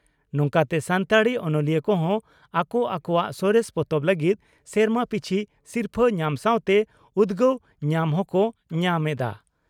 ᱱᱚᱝᱠᱟᱛᱮ ᱥᱟᱱᱛᱟᱲᱤ ᱚᱱᱚᱞᱤᱭᱟᱹ ᱠᱚᱦᱚᱸ ᱟᱠᱚ ᱟᱠᱚᱣᱟᱜ ᱥᱚᱨᱮᱥ ᱯᱚᱛᱚᱵ ᱞᱟᱹᱜᱤᱫ ᱥᱮᱨᱢᱟ ᱯᱤᱪᱷᱤ ᱥᱤᱨᱯᱷᱟᱹ ᱧᱟᱢ ᱥᱟᱣᱛᱮ ᱩᱫᱽᱜᱟᱹᱣ ᱧᱟᱢ ᱦᱚᱠᱚ ᱧᱟᱢ ᱮᱫᱼᱟ ᱾